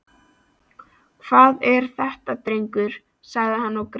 Hvað er þetta drengur? sagði hann og greip